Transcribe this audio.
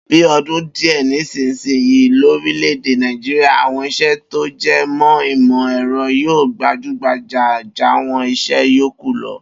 Bi o̩dún díè̩ sísìninyìí lórílè̩-èdè Nàìjíríà, àwo̩n is̩é̩ tó je̩ mó̩ ìmò̩-è̩ro̩ yóò gbajúgbajà jàwo̩n is̩é̩ yòókù lo̩